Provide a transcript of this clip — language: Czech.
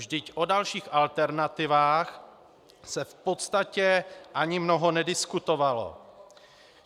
Vždyť o dalších alternativách se v podstatě ani mnoho nediskutovalo.